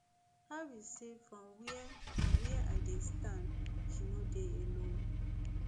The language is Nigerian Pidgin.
harris say from wia from wia i dey stand she no dey alone